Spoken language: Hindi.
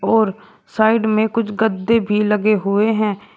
और साइड में कुछ गद्दे भी लगे हुए हैं।